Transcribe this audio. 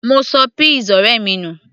mo ṣọ peas ọ̀rẹ́ mi nù